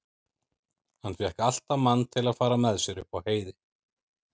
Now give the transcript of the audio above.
Hann fékk alltaf mann til að fara með sér upp á heiði.